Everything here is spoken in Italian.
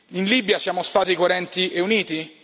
In Libia siamo stati coerenti e uniti?